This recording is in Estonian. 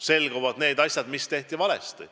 Selguvad asjad, mis tehti valesti.